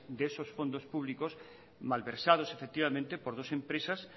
de esos fondos públicos malversados efectivamente por dos empresas